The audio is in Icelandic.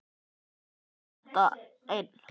Ég kemst þetta einn.